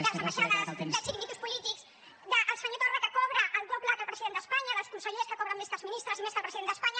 d’ambaixades de chiringuitos polítics del senyor torra que cobra el doble que el president d’espanya dels consellers que cobren més que els ministres i més que el president d’espanya